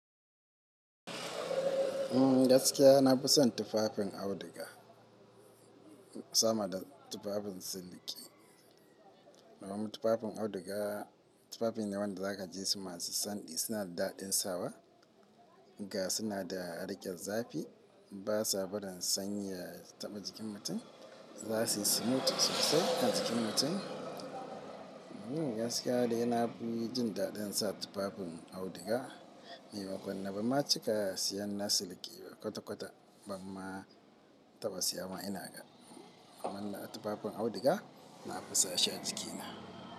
Umm gaskiya na fi son tufafin auduga sama da tufafin siliki. Domin tufafin auduga, tufafi ne da zaka ji su masu santsi masu daɗin sawa ga suna da riƙe zafi. Ba sa bari sanyi ya taɓa jikin mutum, za su smooth sosai kan jikin mutum. Gaskiya dai na fi sa tufafin auduga. Ni ban ma cika siya na siliki ba kwata-kwata, ban ma taɓa siya ma ina ga. Amma tufafin auduga na fi sa shi a jikina.